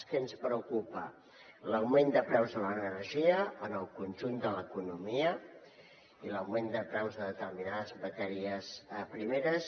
què ens preocupa l’augment de preus de l’energia en el conjunt de l’economia i l’augment de preus de determinades matèries primeres